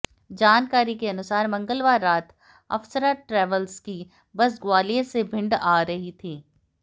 जानकारी के अनुसार मंगलवार रात अफसरा ट्रैवल्स की बस ग्वालियर से भिंड आ रही थी